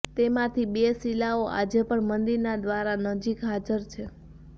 તેમાંથી બે શીલાઓ આજે પણ મંદિરના દ્વાર નજીક હાજર છે